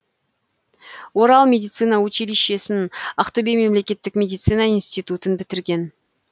орал медицина училищесін ақтөбе мемлекеттік медицина институтын бітірген